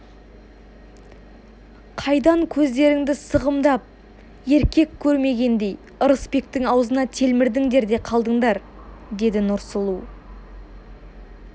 қайдан көздеріңді сығымдап еркек көрмегендей ырысбектің аузына телмірдіңдер де қалдыңдар деді нұрсұлу